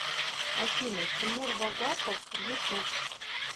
афина тимур вагапов ютуб